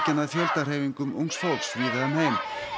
að fjöldahreyfingum ungs fólks víða um heim